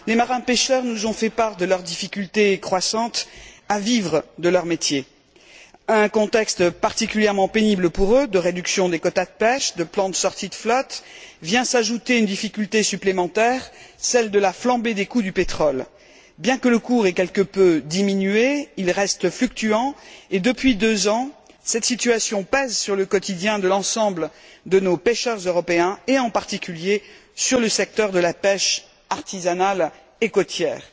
Monsieur le Président, Madame la Commissaire, chers collègues, les marins pêcheurs nous ont fait part de leur difficulté croissante à vivre de leur métier. Au contexte particulièrement pénible pour eux de réduction des quotas de pêche et de plans de sortie de flotte vient s'ajouter une difficulté supplémentaire, celle de la flambée des coûts du pétrole. Bien que le cours ait quelque peu diminué, il reste fluctuant et depuis deux ans, cette situation pèse sur le quotidien de l'ensemble de nos pêcheurs européens, en particulier dans le secteur de la pêche artisanale et côtière.